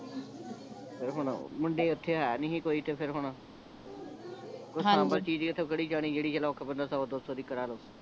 ਤੇ ਹੁਣ ਮੁੰਡ ਏਓਥੈ ਹੈ ਨਹੀਂ ਸੀ ਕੋਈ ਤੇ ਫੇਰ ਹੁਣ ਕੋਈ ਚੀਜ਼ ਐਥੋਂ ਕਿਹੜੀ ਜਾਂਨੀ ਜਿਹੜੀ ਜਿਹੜੀ ਬੰਦਾ ਸੌ ਦੋ ਦੀ ਬਣਾ ਲਉ